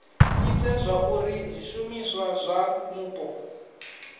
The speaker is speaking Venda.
ite zwauri zwishumiswa zwa mupo